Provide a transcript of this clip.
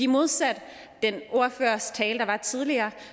modsat den ordførers tale der var tidligere